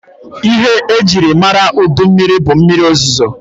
Ihe e jiri mara udu mmịrị bụ mmịrị ozozo.